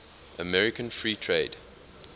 american free trade